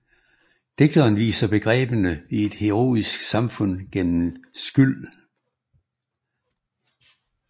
Digteren viser begreberne i et heroisk samfund gennem Scyld